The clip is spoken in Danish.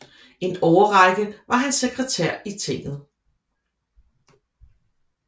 En årrække var han sekretær i tinget